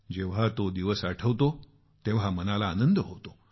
जेव्हा तो दिवस आठवतो तेव्हा मनाला आनंद होतो